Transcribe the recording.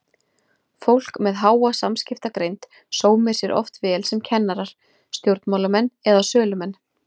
Fólk með háa samskiptagreind sómir sér oft vel sem kennarar, stjórnmálamenn eða sölumenn.